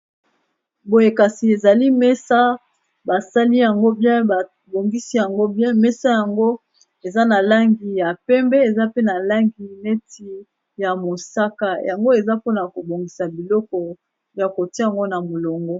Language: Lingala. Boye kasi ezali mesa basali yango bien babongisi yango bien mesa yango eza na langi ya pembe eza pe na langi neti ya mosaka yango eza mpona kobongisa biloko ya kotia ngo na molongo.